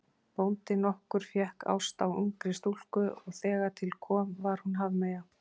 Bóndi nokkur fékk ást á ungri stúlku og þegar til kom var hún hafmeyja.